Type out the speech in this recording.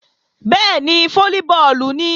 Bẹ́ẹ̀ni, fólíbọọ̀lù nìí